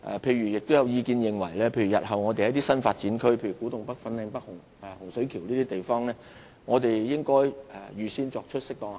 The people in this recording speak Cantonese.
此外，亦有意見認為日後在一些新發展區，例如古洞北、粉嶺北和洪水橋等地方，應預先作出適當的考慮。